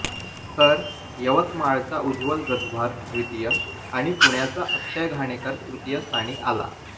तर यवतमाळचा उज्ज्वल गजभार द्वितीय आणि पुण्याचा अक्षय घाणेकर तृतीय स्थानी आला